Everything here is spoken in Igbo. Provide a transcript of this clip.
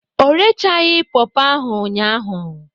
Ọ keghi re ọtẹn nokhuo ọghe emwa nibun